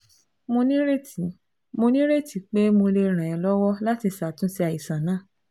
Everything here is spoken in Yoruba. Mo nírètí Mo nírètí pé mo lè ràn ẹ́ lọ́wọ́ láti ṣàtúnṣe àìsàn náà